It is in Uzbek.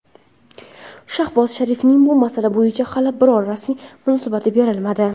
Shahboz Sharifning bu masala bo‘yicha hali biror rasmiy munosabati berilmadi.